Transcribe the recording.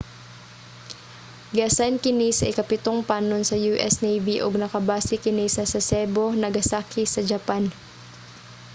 giasayn kini sa ikapitong panon sa u.s. navy ug nakabase kini sa sasebo nagasaki sa japan